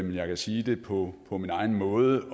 jeg kan sige det på på min egen måde